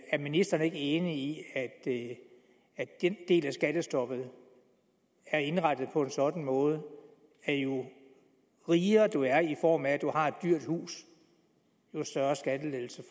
er ministeren ikke enig i at den del af skattestoppet er indrettet på en sådan måde at jo rigere du er i form af at du har et dyrt hus jo større skattelettelse